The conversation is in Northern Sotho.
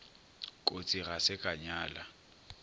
kotsi ga se ka nyala